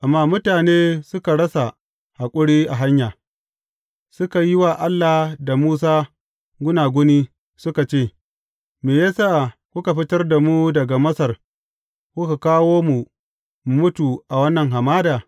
Amma mutane suka rasa haƙuri a hanya; suka yi wa Allah da Musa gunaguni, suka ce, Me ya sa kuka fitar da mu daga Masar, kuka kawo mu mu mutu a wannan hamada?